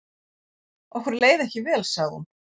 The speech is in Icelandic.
Okkur leið ekki vel sagði hún.